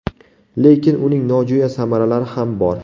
Lekin uning nojo‘ya samaralari ham bor.